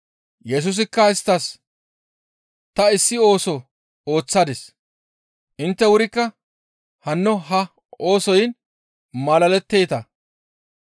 Yesusikka isttas, «Ta issi ooso ooththadis; intte wurikka hanno ha oosoyn malaletteeta.